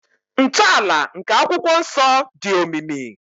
Ntọala nke akwụkwọ nsọ dị omimi.